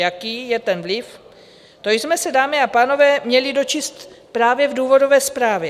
Jaký je ten vliv, to jsme se, dámy a pánové, měli dočíst právě v důvodové zprávě.